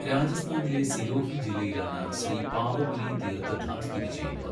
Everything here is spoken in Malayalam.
രാജസ്ഥാനിലെ സിരോഹി ജില്ലയിലാണ് ശ്രീ പാവപുരി തീർത്ഥധാം സ്ഥിതി ചെയ്യുന്നത്.